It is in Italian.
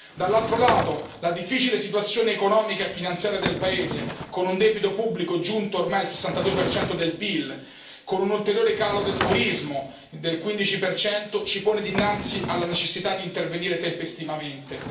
Dall'altro lato, la difficile situazione economica e finanziaria del paese, con un debito pubblico giunto ormai al 62 del PIL, con un ulteriore calo del turismo del 15, ci pone dinanzi alla necessità di intervenire tempestivamente.